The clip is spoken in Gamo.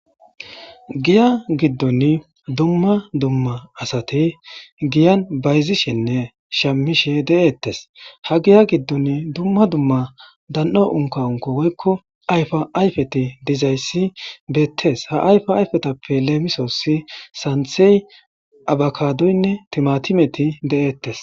giya giddon dumma dumma asati giyan bayzishenne shammishe de7eettes ha giya giddon dumma dumma dan7o unka unko woykko ayfa ayfeti dizayssi beettees ha ayfa ayfetappe leemisoossi santhey abakadoynne timatimeti de7eettes